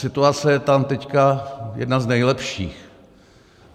Situace je tam teď jedna z nejlepších.